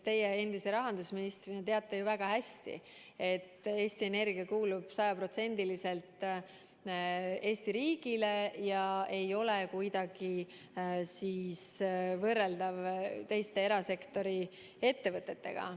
Teie endise rahandusministrina teate ju väga hästi, et Eesti Energia kuulub sajaprotsendiliselt Eesti riigile ega ole kuidagi võrreldav teiste erasektori ettevõtetega.